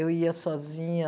Eu ia sozinha...